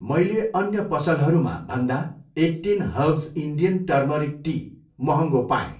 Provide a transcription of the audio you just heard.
मैले अन्य पसलहरूमा भन्दा eighteen herbs Indian turmeric tea महँगो पाएँ।